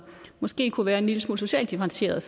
måske kunne være en lille smule socialt differentieret